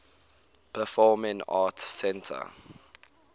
performing arts center